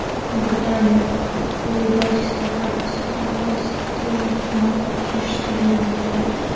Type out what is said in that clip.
Britaniyada Leyboristlar partiyasi koalitsiya hukumatini tuzish istagini bildirdi.